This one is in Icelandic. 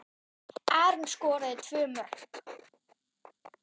Aron skoraði tvö mörk.